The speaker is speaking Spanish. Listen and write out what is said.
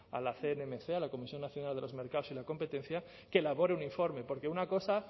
a las cnmc a la comisión nacional de los mercados y la competencia que elabore un informe porque una cosa